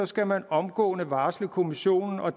skal man omgående varsle kommissionen og